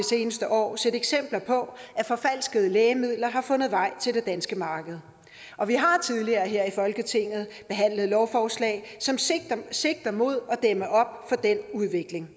seneste år set eksempler på at forfalskede lægemidler har fundet vej til det danske marked vi har tidligere i folketinget behandlet lovforslag som sigter sigter mod at dæmme op for den udvikling